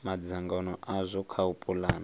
madzangano azwo kha u pulana